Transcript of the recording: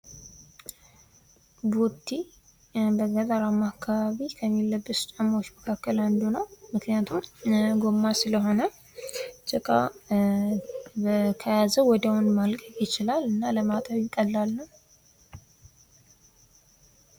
ቦቲ በገጠር አማካባቢ ከሚለበሱ ጫማዎች መካከል አንዱ ነው ምክንያቱም ጎማ ሲሆን ጭቃ ከያዘው ወዲያውኑ መልቀቅ ይችላል እና ወዲያው ለማጠብ ይቀላል።